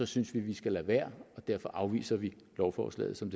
synes vi vi skal lade være og derfor afviser vi lovforslaget som